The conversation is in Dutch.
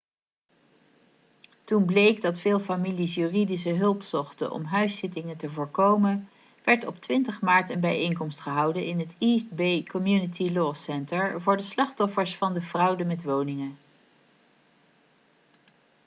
toen bleek dat veel families juridische hulp zochten om huisuitzettingen te voorkomen werd op 20 maart een bijeenkomst gehouden in het east bay community law center voor de slachtoffers van de fraude met woningen